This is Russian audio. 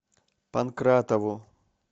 панкратову